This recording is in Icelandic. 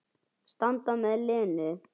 Standa með Lenu.